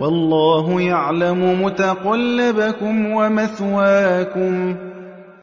وَاللَّهُ يَعْلَمُ مُتَقَلَّبَكُمْ وَمَثْوَاكُمْ